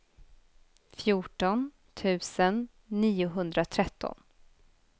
fjorton tusen niohundratretton